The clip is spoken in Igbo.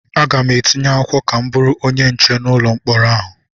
Aga m etinye akwụkwọ ka m bụrụ onye nche n'ụlọ mkpọrọ ahụ.